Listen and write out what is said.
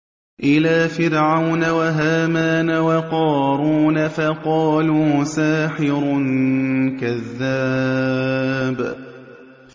إِلَىٰ فِرْعَوْنَ وَهَامَانَ وَقَارُونَ فَقَالُوا سَاحِرٌ كَذَّابٌ